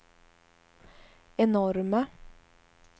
enorma